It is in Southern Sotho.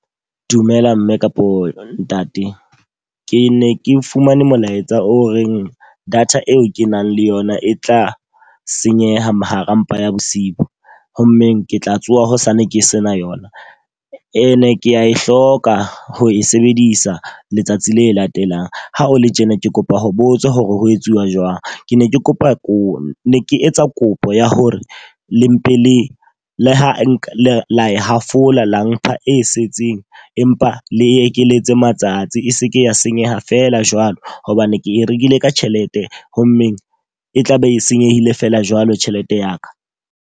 Dumela mme kapo ntate. Ke ne ke fumane molaetsa o reng data eo ke nang le yona e tla senyeha ma hara mpa ya bosiu. Ho mmeng ke tla tsoha hosane ke sena yona E ne kea e hloka ho e sebedisa letsatsi le latelang. Ha o le tjena ke kopa ho botsa hore ho etsuwa jwang? Ke ne ke kopa ko ne ke etsa kopo ya hore le mpe le le ha nka la hafola la mpha e setseng empa le ekeletse matsatsi e seke ya senyeha feela jwalo. Hobane ke e rekile ka tjhelete ho mmeng, e tlabe e senyehile feela jwalo tjhelete ya ka.